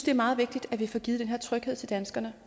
er meget vigtigt at vi får givet den her tryghed til danskerne